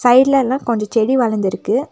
சைட்லலாம் கொஞ்சம் செடி வளர்ந்துருக்கு.